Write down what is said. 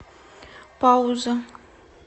пауза